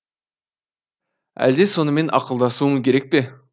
әлде сонымен ақылдасуым керек пе